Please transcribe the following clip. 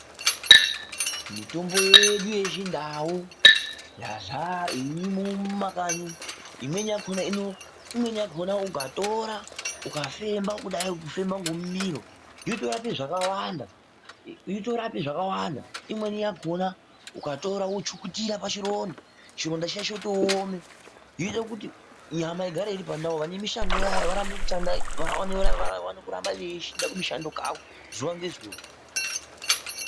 Mitombo yedu yechindau irimwo mumakanyi umu imweni yachona ukaitora wofemba inorapa matenda akawanda .Mweni yachona ukaichukutira pachironda inotooma chinoita kuti nyama igare iri pandau. Vane mishando yavo vakone kuenda kumushando zuwa ngezuwa